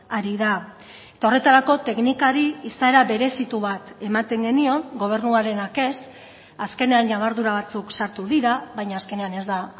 ari da eta horretarako teknikari izaera berezitu bat ematen genion gobernuarenak ez azkenean ñabardura batzuk sartu dira baina azkenean ez da